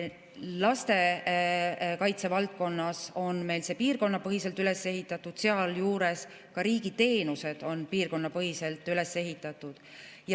Lastekaitsevaldkond on meil piirkonnapõhiselt üles ehitatud, sealjuures ka riigi teenused on piirkonnapõhiselt üles ehitatud.